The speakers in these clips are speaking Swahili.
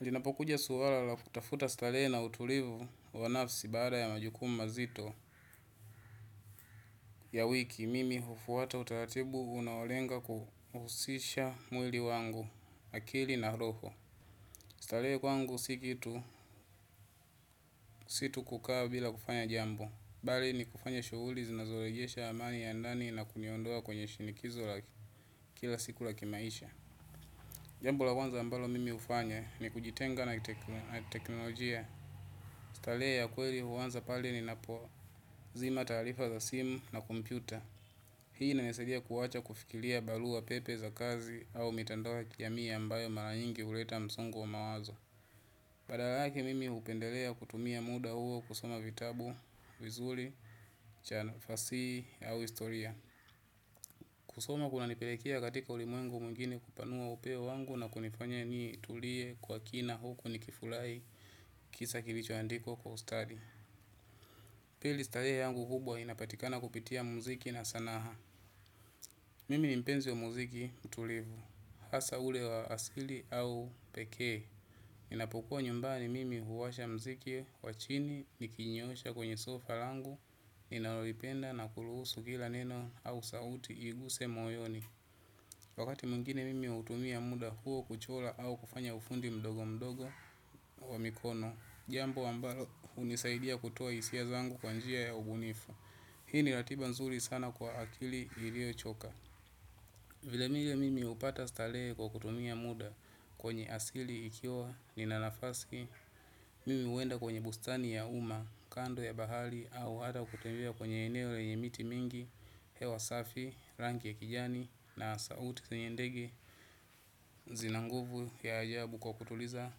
Jinapokuja suala la kutafuta starehe na utulivu wa nafsi baada ya majukumu mazito ya wiki. Mimi hufuata utaratibu unaolenga kuhusisha mwili wangu, akili na roho. Starehe kwangu si kitu si tu kukaa bila kufanya jambo. Bali ni kufanya shughuli zinazorejesha amani ya ndani na kuniondoa kwenye shinikizo kila siku la kimaisha. Jambo la kwanza ambalo mimi hufanya ni kujitenga na teknolojia. Starehe ya kweli huanza pale ninapozima taarifa za simu na kompyuta. Hii inanisaidia kuacha kufikiria barua pepe za kazi au mitandao kijamii ambayo mara nyingi huleta msongo wa mawazo. Badala yake mimi hupendelea kutumia muda huo kusoma vitabu vizuri cha fasihi au historia. Kusoma kunanipelekea katika ulimwengu mwingine kupanua uelewa wangu na kunifanya nitulie kwa kina huku nikifurahi kisa kilichoandikwa kwa ustadi. Pili starehe yangu hubwa inapatikana kupitia muziki na sanaa. Mimi ni mpenzi wa muziki mtulivu. Hasa ule wa asili au pekee. Inapokuwa nyumbani mimi huwasha muziki wa chini nikijinyoosha kwenye sofa langu ninalolipenda na kuruhusu kila neno au sauti iguse moyoni. Wakati mwingine mimi hutumia muda huo kuchora au kufanya ufundi mdogo mdogo wa mikono. Jambo ambalo hunisaidia kutoa hisia zangu kwa njia ya ubunifu. Hii ni ratiba nzuri sana kwa akili iliyochoka. Vilevile mimi hupata starehe kwa kutumia muda kwenye asili ikiwa nina nafasi. Mimi huenda kwenye bustani ya umma, kando ya bahari au hata kutembea kwenye eneo lenye miti mingi, hewa safi, rangi ya kijani. Na sauti zenye ndege zina nguvu ya ajabu kwa kutuliza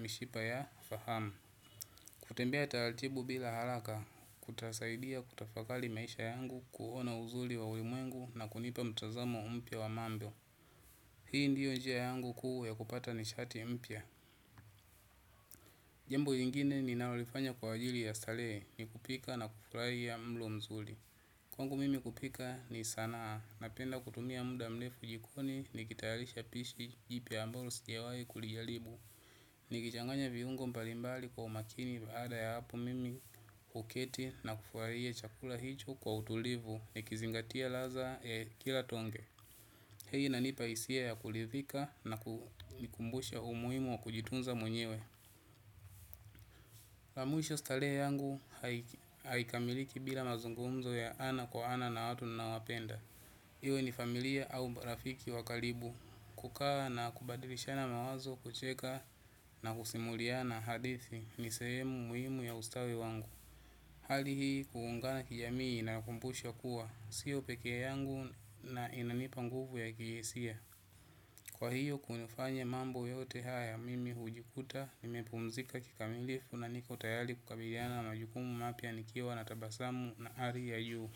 mishipa ya fahamu. Kutembea taratibu bila haraka kutasaidia kutafakari maisha yangu. Kuona uzuri wa ulimuengu na kunipa mtazamo mpya wa mambo. Hii ndiyo njia yangu kuu ya kupata nishati mpya jambo lingine ninalolifanya kwa ajili ya starehe. Ni kupika na kufurahia mlo mzuri. Kwangu mimi kupika ni sanaa. Napenda kutumia muda mrefu jikoni nikitayalisha pishi jipya ambalo sijawahi kulijaribu. Nikichanganya viungo mbalimbali kwa umakini baada ya hapo mimi huketi na kufurahia chakula hicho kwa utulivu nikizingatia ladba ya kila tonge hii inanipa hisia ya kuridhika na kunikumbusha umuhimu wa kujitunza mwenyewe. La mwisho starehe yangu haikamiliki bila mazungumzo ya ana kwa ana na watu ninaowapenda. Iwe ni familia au rafiki wa karibu. Kukaa na kubadilishana mawazo kucheka na kusimuliana hadithi ni sehemu umuhimu ya ustawi wangu. Hali hii kuungana kijamii inakumbusha kuwa. Sio pekee yangu na inanipa nguvu ya kihisia. Kwa hiyo kunafanya mambo yote haya mimi hujikuta, nimepumzika kikamilifu na niko tayari kukabiliana majukumu mapya nikiwa na tabasamu na ari ya juu.